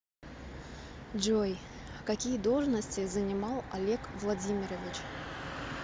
джой какие должности занимал олег владимирович